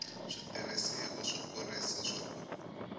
switirhisiwa swo kurisa swa ku